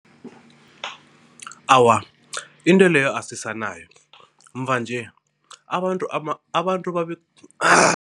Awa, into leyo asisanayo, mva-nje abantu abantu babe